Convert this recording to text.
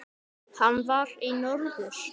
Hann var í norður.